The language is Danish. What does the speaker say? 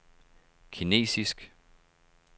kinesisk